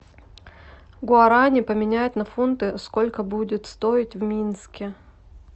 гуарани поменять на фунты сколько будет стоить в минске